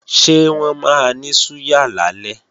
Ṣé wọ́n máa ní súyà lálẹ́?